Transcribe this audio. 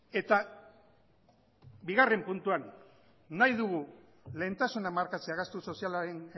eta bigarrena puntuan nahi dugu lehentasuna markatzea gastu sozialaren